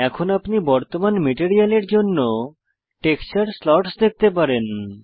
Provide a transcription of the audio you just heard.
এখন আপনি বর্তমান মেটেরিয়ালের জন্য টেক্সচার স্লটস দেখতে পারেন